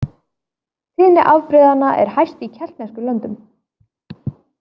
Tíðni afbrigðanna er hæst í keltneskum löndum.